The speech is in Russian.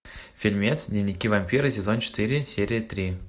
фильмец дневники вампира сезон четыре серия три